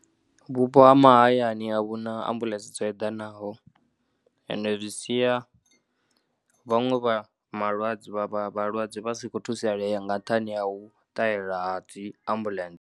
Vhupo ha mahayani a vhu na ambuḽentse dzo eḓanaho ende zwi sia vhaṅwe vha malwadze, vha vha vhalwadze vha si kho thusalea nga nṱhani ha u ṱahela ha tea ambuḽentse.